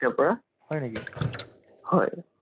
তাকেই টো, তাকে তাকে তাকে